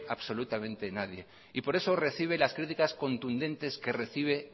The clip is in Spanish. absolutamente nadie y por eso recibe las críticas contundentes que recibe